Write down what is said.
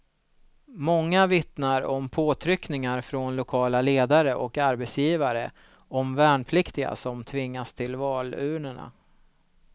Många vittnar om påtryckningar från lokala ledare och arbetsgivare, om värnpliktiga som tvingas till valurnorna.